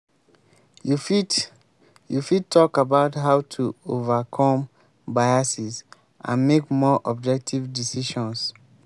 you fit you fit talk about how to overcome biases and make more objective decisions.